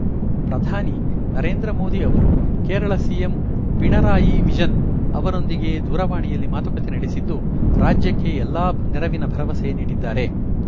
ಪ್ರಧಾನಿ ನರೇಂದ್ರ ಮೋದಿ ಅವರು ಕೇರಳ ಸಿಎಂ ಪಿಣರಾಯಿ ವಿಜನ್‌ ಅವರೊಂದಿಗೆ ದೂರವಾಣಿಯಲ್ಲಿ ಮಾತುಕತೆ ನಡೆಸಿದ್ದು ರಾಜ್ಯಕ್ಕೆ ಎಲ್ಲಾ ನೆರವಿನ ಭರವಸೆ ನೀಡಿದ್ದಾರೆ